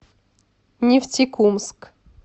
нефтекумск